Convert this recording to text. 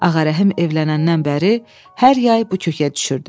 Ağarəhim evlənəndən bəri hər yay bu kökə düşürdü.